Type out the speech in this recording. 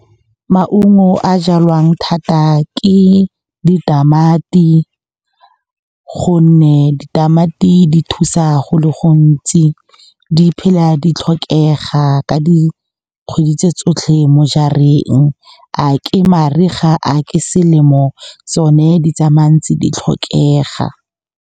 Maungo a jalwang thata ke ditamati, gonne ditamati di thusa go le gontsi. Di phela di tlhokega ka dikgwedi tse tsotlhe mo jarareng, a ke mariga, a ke selemo, tsone di tsamayang tse di tlhokega.